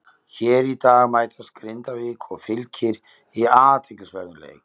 Hér í dag mætast Grindavík og Fylkir í athyglisverðum leik.